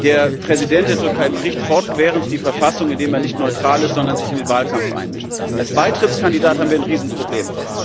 Der Präsident der Türkei bricht fortwährend die Verfassung, indem er nicht neutral ist, sondern sich in den Wahlkampf einmischt. Mit der Türkei als Beitrittskandidat haben wir ein Riesenproblem.